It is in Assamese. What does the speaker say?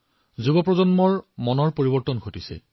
যুৱচামৰ মন সলনি হৈছে